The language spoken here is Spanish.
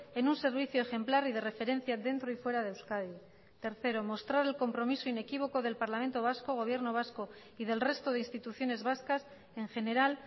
en un servicio ejemplar y de referencia dentro y fuera de euskadi tercero mostrar el compromiso inequívoco del parlamento vasco gobierno vasco y del resto de instituciones vascas en general